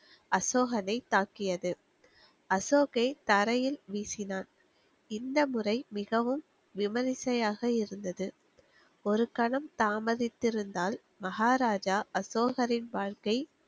அசோகனை தாக்கியது. அசோக்கை தரையில் வீசினான். இந்த முறை மிகவும் விமரிசையாக இருந்தது. ஒரு கணம் தாமதித்து இருந்தால், மகாராஜா அசோகரின் வாழ்க்கை,